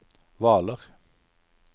Hvaler